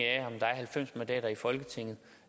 er halvfems mandater i folketinget